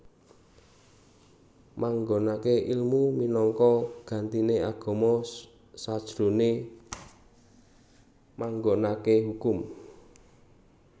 Manggonake ilmu minangka gantine agama sajrone manggonake hukum